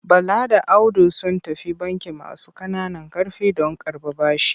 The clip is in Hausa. Bala da Audu sun tafi bankin masu ƙananan ƙarfi don karɓar bashi.